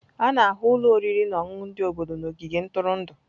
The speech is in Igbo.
A na-ahụ ụlọ oriri na ọṅụṅụ ndị obodo na ogige ntụrụndụ.